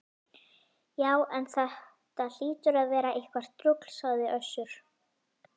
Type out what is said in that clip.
Já, en þetta hlýtur að vera eitthvert rugl, sagði Össur